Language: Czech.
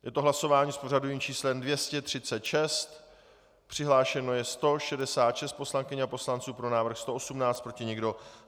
Je to hlasování s pořadovým číslem 236, přihlášeno je 166 poslankyň a poslanců, pro návrh 118, proti nikdo.